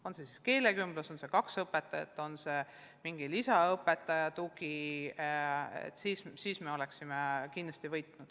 On see keelekümblus, on see kaks õpetajat, on see mingi lisaõpetaja tugi – me kindlasti sellest võidaksime.